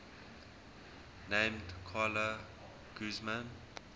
named carla guzman